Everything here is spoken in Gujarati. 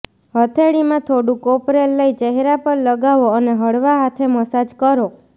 હથેળીમાં થોડું કોપરેલ લઈ ચહેરા પર લગાવો અને હળવા હાથે મસાજ કરો